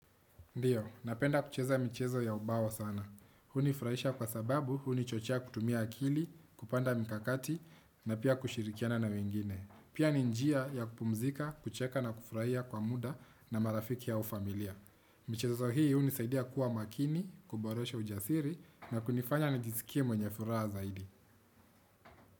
Ndiyo, napenda kucheza mchezo ya ubao sana. Hunifurahisha kwa sababu, hunichochea kutumia akili, kupanga mikakati, na pia kushirikiana na wengine. Pia ni njia ya kupumzika, kucheka na kufurahia kwa muda na marafiki au familia. Mchezo hii, hunisaidia kuwa makini, kuboresha ujasiri, na kunifanya nijisikie mwenye furaha zaidi.